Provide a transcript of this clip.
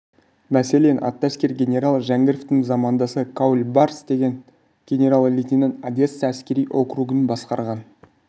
мәселен атты әскер генералы жәңгіровтың замандасы каульбарс деген генерал-лейтенант одесса әскери округын басқарған